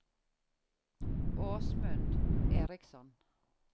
Åsmund Eriksson